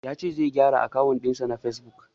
Ya ce zai gyara akawun ɗin shi na fesbuk.